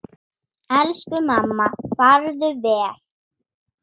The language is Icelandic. Elsku mamma, farðu vel.